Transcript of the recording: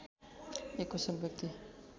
एक कुशल व्यक्ति